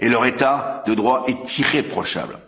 Et leur état de droit est irréprochable.